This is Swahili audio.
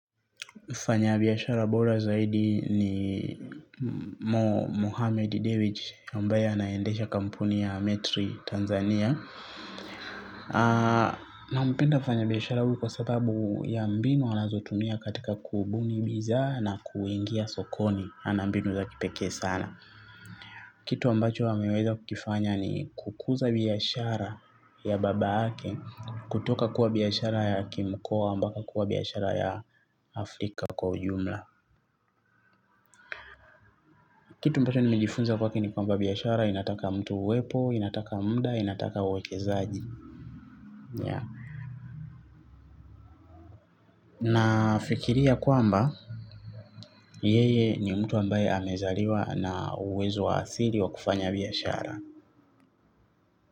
Fanya biyashara bora zaidi ni Mohamed David ambaye naendesha kampuni ya metri Tanzania. Nampenda fanya biyashara huu kwa sababu ya mbinu anazotumia katika kubuni bizaa na kuingia sokoni ana mbinu za kipekee sana. Kitu ambacho ameweza kukifanya ni kukuza biyashara ya baba yake kutoka kuwa biyashara ya kimkoa mbaka kuwa biyashara ya Afrika kwa ujumla. Kitu ambacho nimejifunza kwake ni kwamba biyashara inataka mtu uwepo, inataka muda, inataka uwekezaji. Nafikiria kwamba, yeye ni mtu ambaye amezaliwa na uwezo wa asili wa kufanya biyashara.